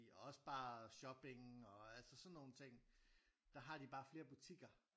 Og også bare shopping og altså sådan nogle ting der har de bare flere butikker